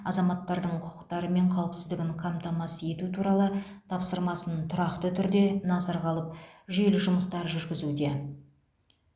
азаматтардың құқықтары мен қауіпсіздігін қамтамасыз ету туралы тапсырмасын тұрақты түрде назарға алып жүйелі жұмыстар жүргізуде